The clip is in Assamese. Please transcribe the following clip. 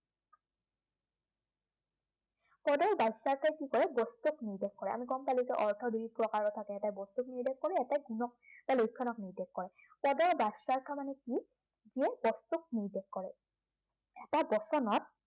পদৰ বাচ্য়াৰ্থই কি কয়, বস্তু এটাক নিৰ্দেশ কৰে। আমি গম পালো যে অৰ্থ দুই প্ৰকাৰৰ থাকে। এটাই বস্তুক নিৰ্দেশ কৰে, এটাই গুণক বা লক্ষণক নিৰ্দেশ কৰে। পদৰ বাচ্য়াৰ্থ মানে কি, যিয়ে পদটোক নিৰ্দেশ কৰে এটা বচনক